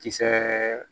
Kisɛ